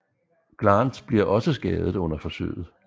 Glance bliver også skadet under forsøget